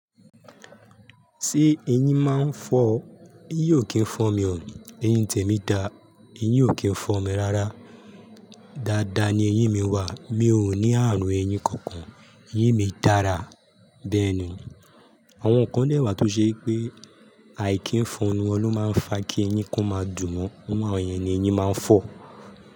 Ṣé eyín máa ń fọ́? Eyín ò kí ń fọ́ mi o. Eyín tèmi da, eyín ò kí ń fọ́n mi rárá. Dada ni eyín mi wà, mi ò ní ààrùn eyín kankan. Eyín mi dára. Bẹ́ẹ̀ni, àwọn kan lẹ́wà tó ṣe pé àìkí ń fọ́nu wọn ló máa ń fa kí eyín kan máa dùn wọ́n, nígbà wọ̀nyí ni eyín máa ń fọ́.